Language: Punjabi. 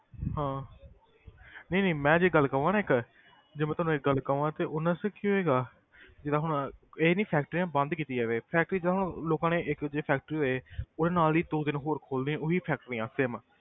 ਹਾਂ ਨਹੀਂ ਨਹੀਂ ਮੈਂ ਜੇ ਗੱਲ ਕਵਾਂ ਨਾ ਇੱਕ ਜੇ ਮੈਂ ਤੁਹਾਨੂੰ ਇੱਕ ਗੱਲ ਕਵਾਂ ਤੇ ਉਹ ਨਾ ਅੱਛਾ ਕੀ ਹੋਏਗਾ ਜਿੱਦਾਂ ਹੁਣ ਇਹ ਨੀ factories ਬੰਦ ਕੀਤੀ ਜਾਵੇ factory ਤਾਂ ਹੁਣ ਲੋਕਾਂ ਨੇ ਇੱਕ ਜੇ factory ਹੋਏ ਉਹਦੇ ਨਾਲ ਦੀ ਦੋ ਤਿੰਨ ਹੋਰ ਖੁੱਲਦੀਆਂ ਉਹ ਹੀ factories same